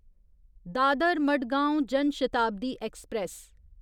Dadar Madgaon Jan Shatabdi express